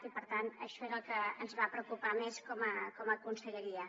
i per tant això va ser el que ens va preocupar més com a conselleria